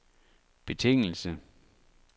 betingelse